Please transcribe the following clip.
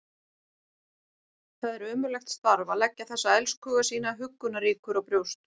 Það er ömurlegt starf að leggja þessa elskhuga sína huggunarríkur á brjóst.